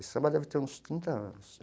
Esse samba deve ter uns trinta anos.